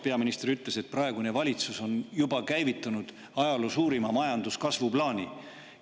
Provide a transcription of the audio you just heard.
Peaminister ütles, et praegune valitsus on juba käivitanud ajaloo suurima majanduskasvu plaani.